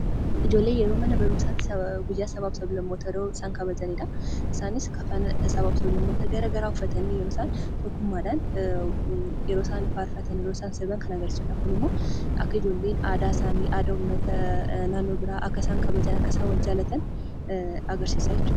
Ijoolleen yeroo mana barumsaatti guyyaa sabaa fi sab-lammootaa yeroo isaan kabajanidha. Isaanis kafana sabaa fi sab-lammootaa garaagaraa uffatanii yeroo isaan tokkummaadhaan yeroo isaan faarfatan, yeroo isaan sirban kan agarsiisudha. Kun immoo akka ijoolleen aadaa isaanii aadaa uummataa naannoo biraa akka isaan kabajan , akka isaan wal jaallatan agarsiisaa jechuudha.